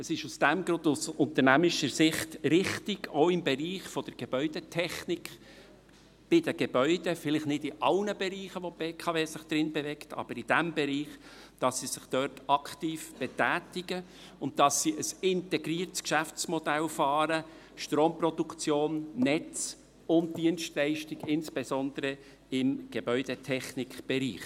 Aus diesem Grund ist es aus unternehmerischer Sicht richtig, dass sich die BKW auch im Bereich der Gebäudetechnik bei den Gebäuden – vielleicht nicht in allen Bereichen, in denen sich die BKW bewegt, aber in diesem –, aktiv betätigt und dass sie ein integriertes Geschäftsmodell fährt: Stromproduktion, Netze und Dienstleistung, insbesondere im Gebäudetechnikbereich.